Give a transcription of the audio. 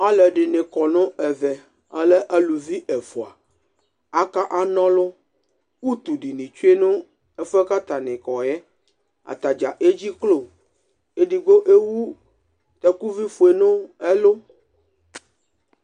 Alʋ ɛdini kɔ nʋ ɛvɛ alɛ alʋvi ɛfʋa aka na ɔlʋ utu duni tsuenʋ ɛfʋ yɛ kʋ atani kɔyɛ atadza edziklo edigbo ewʋ takʋvi fue nʋ ɛlʋ